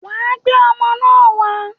Wàá gbé ọmọ náà wá.